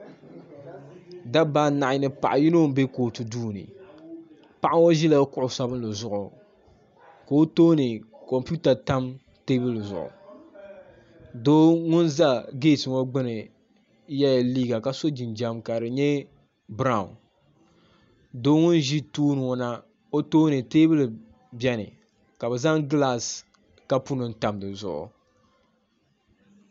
da baaanahi n paɣ' yino n bɛ kotu dini paɣ' ŋɔ ʒɛla kuɣ' sabinli zuɣ' ka o tuuni kompɛwuta tam tɛbuli zuɣ' do ŋɔ za gitɛ ŋɔ gbani yɛla liga ka so jinjam ka di nyɛ bɛrawu do ŋɔ ʒɛ tuuni ŋɔ na o tuuni tɛbuli bɛni ka bɛ zaŋ gilasi kapuni tam di zuɣ'